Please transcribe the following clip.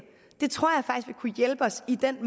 vil kunne hjælpe os i den